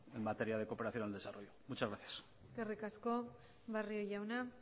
en materia de cooperación al desarrollo muchas gracias eskerrik asko barrio jauna